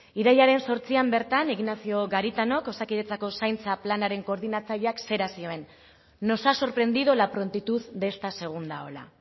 irailaren zortzian bertan ignacio garitanok osakidetzako zaintza planaren koordinatzaileak zera zioen nos ha sorprendido la prontitud de esta segunda ola